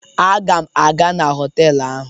Aga m aga na họtelụ ahụ.